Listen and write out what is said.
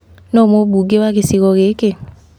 Nũũ mũbunge wa gĩcigo gĩkĩ?